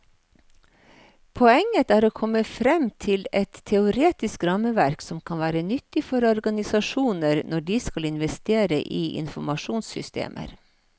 Poenget er å komme frem til et teoretisk rammeverk som kan være nyttig for organisasjoner når de skal investere i informasjonssystemer.